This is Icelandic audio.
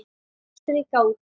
Strika út.